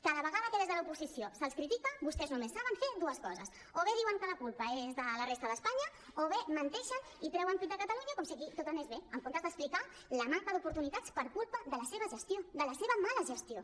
cada vegada que des de l’oposició se’ls critica vostès només saben fer dues coses o bé diuen que la culpa és de la resta d’espanya o bé menteixen i treuen pit de catalunya com si aquí tot anés bé en comptes d’explicar la manca d’oportunitats per culpa de la seva gestió de la seva mala gestió